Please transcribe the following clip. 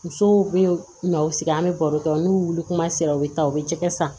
Musow be na u sigi an be baro kɛ n'u wulila kuma sera u be taa u be jɛgɛ san